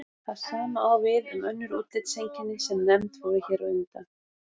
Það sama á við um önnur útlitseinkenni sem nefnd voru hér á undan.